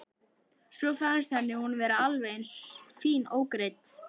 Svo fannst henni hún vera alveg eins fín ógreidd.